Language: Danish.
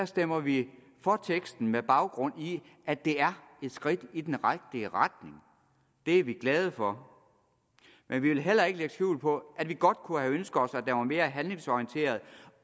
stemmer vi for teksten med baggrund i at det er et skridt i den rigtige retning det er vi glade for men vi vil heller ikke lægge skjul på at vi godt kunne have ønsket os at var mere handlingsorienteret